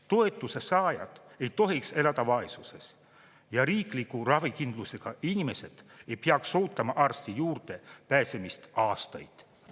Toetuse saajad ei tohiks elada vaesuses ja riikliku ravikindlustusega inimesed ei peaks ootama arsti juurde pääsemist aastaid.